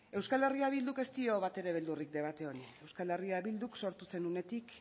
euskal herria bilduk ez dio batere beldurrik debate horri euskal herria bilduk sortu zen unetik